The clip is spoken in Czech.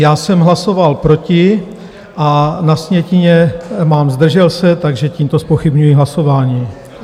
Já jsem hlasoval proti a na sjetině mám "zdržel se", takže tímto zpochybňuji hlasování.